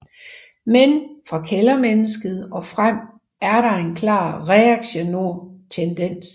Men fra Kældermennesket og frem er der en klar reaktionær tendens